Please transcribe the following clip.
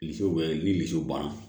Misiw bɛ ni misiw ban